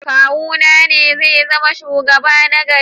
Kawuna ne zai zama shugaba na gari.